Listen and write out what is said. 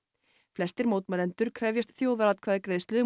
flestir mótmælendur krefjast þjóðaratkvæðagreiðslu um